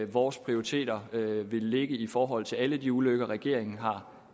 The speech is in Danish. vores prioriteter vil ligge i forhold til alle de ulykker regeringen